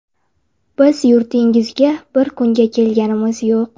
Biz yurtingizga bir kunga kelganimiz yo‘q.